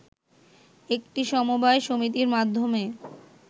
একটি সমবায় সমিতির মাধ্যমে